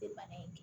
bana in